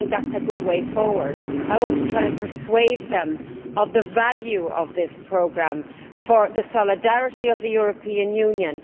I do not think that is a good way forward. I want to try and persuade them of the value of this programme for the solidarity of the European Union.